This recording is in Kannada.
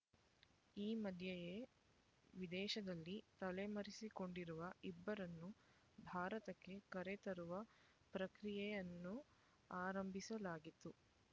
ಈ ಮಧ್ಯೆಯೇ ವಿದೇಶದಲ್ಲಿ ತಲೆಮರೆಸಿಕೊಂಡಿರುವ ಇಬ್ಬರನ್ನು ಭಾರತಕ್ಕೆ ಕರೆತರುವ ಪ್ರಕ್ರಿಯೆಯನ್ನು ಆರಂಭಿಸಲಾಗಿತ್ತು